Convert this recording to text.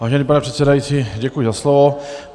Vážený pane předsedající, děkuji za slovo.